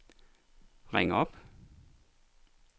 ring op